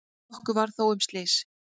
Nokkuð var þó um slys.